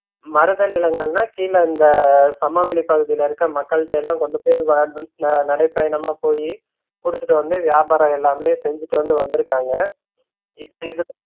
மருதநிலங்கள்ன்னா கீழ இந்த சமவெளி பகுதில இருக்கற மக்கள்டைலாம் கொண்டுபோய் நான் விட்ல நடைபயணமா போய் கொடுத்துட்டு வந்து வியாபாரம் எல்லாமே செஞ்சுட்டு வந்து வந்துருக்காங்க இப்ப இருக்காது